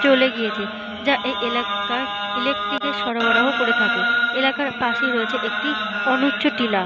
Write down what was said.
চলে গিয়েছে যা এই এলাকার ইলেকট্রিকে সরবরাহ করে থাকে। এলাকার পাশে রয়েছে একটি অনুচ্চ টিলা।